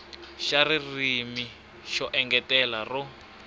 xa ririmi ro engetela ro